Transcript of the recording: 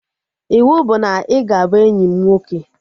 Iwu bụ na ị ga-abụ enyi m nwoke!